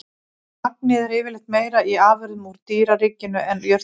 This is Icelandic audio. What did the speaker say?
Magnið er yfirleitt meira í afurðum úr dýraríkinu en jurtaríkinu.